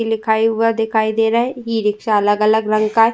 इ लिखा हुआ दिखाई दे रहा है। इ रिक्शा अलग अलग रंग का।